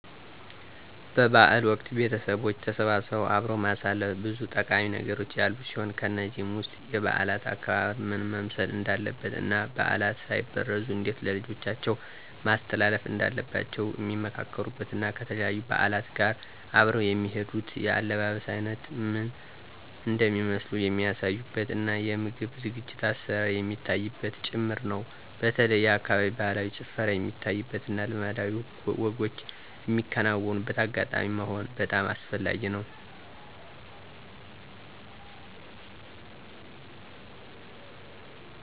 በ በዓል ወቅት ቤተቦች ተሰባስበው አብሮ ማሳለፍ ብዙ ጠቃሚ ነገሮች ያሉት ሲሆን ከነዚህም ውስጥ የበዓላት አከባበር ምን መምሰል እንዳለበት እና ባዕላት ሳይበረዙ እንዴት ለልጆቻቸው ማስተላለፍ እንዳለባቸዉ ሚመካከሩበት እና ከተለያዩ በዓላት ጋር አብረው የሚሄዱት የአለባበስ አይነቶች ምን እንደሚመስሉ የሚያሳዩበት እና የምግብ ዝግጅት(አሰራር) የሚታይበትም ጭምር ነው። በተለይ የአካባቢው ባህላዊ ጭፈራ የሚታይበት እና ልማዳዊ ወጎች ሚከናወንበት አጋጣሚ መሆኑ በጣም አስፈላጊ ነው።